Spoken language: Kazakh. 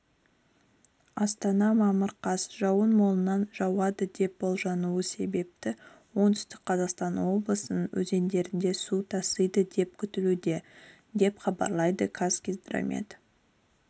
астана мамыр қаз жауын молынан жауады деп болжануы себепті оңтүстік қазақстан облысының өзендерінде су тасиды деп күтілуде деп хабарлады қазгидромет